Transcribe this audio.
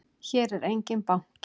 Hér er enginn banki!